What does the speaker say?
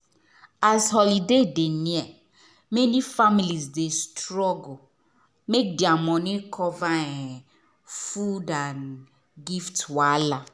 as holiday dey near many families dey struggle make their money cover um food and gift wahala.